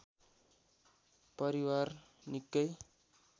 परिवार निकै